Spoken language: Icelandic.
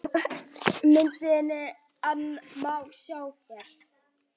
Myndirnar má sjá hér